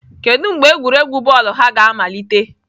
Kedu mgbe egwuregwu bọọlụ ha ga-amalite?